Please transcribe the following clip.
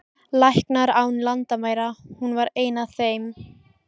Læknar án landamæra, hún var ein af þeim.